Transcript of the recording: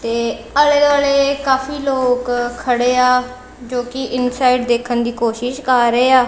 ਤੇ ਆਲੇ ਦੁਆਲੇ ਕਾਫੀ ਲੋਕ ਖੜੇ ਆ ਜੋ ਕਿ ਇਨਸਾਈਡ ਦੇਖਣ ਦੀ ਕੋਸ਼ਿਸ਼ ਕਰ ਰਹੇ ਆ।